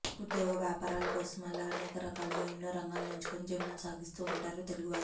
ఉద్యోగ వ్యాపారాల కోసమే ఇలా అనేక రకాలుగా ఎన్నో రంగాలని ఎంచుకుని జీవనం సాగిస్తూ ఉంటారు తెలుగువారు